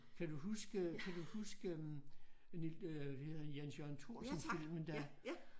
Kan du huske kan du huske øh Jens Jørgen Thorsen filmen dér